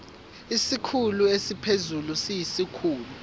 isikhulu esiphezulu siyisikhulu